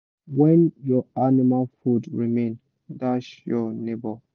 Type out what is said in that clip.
when your animal food remain dash your neighbour